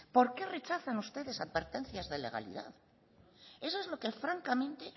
por qué rechazan ustedes advertencias de legalidad eso es lo que francamente